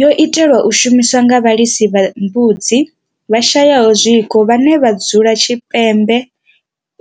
Yo itelwa u shumiswa nga vhalisa vha mbudzi vhashayaho zwiko vhane vha dzula tshipembe